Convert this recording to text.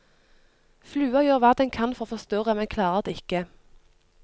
Flua gjør hva den kan for å forstyrre, men klarer det ikke.